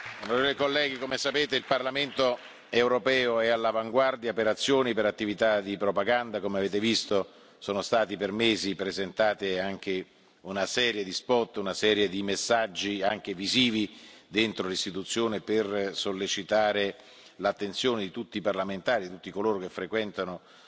Onorevoli colleghi, come sapete il Parlamento europeo è all'avanguardia per le azioni e le attività di propaganda in materia. Come avete visto, sono stati per mesi presentati una serie di spot, una serie di messaggi anche visivi dentro l'Istituzione per sollecitare l'attenzione di tutti i parlamentari e di tutti coloro che frequentano